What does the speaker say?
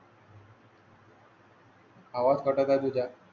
आवळ्या.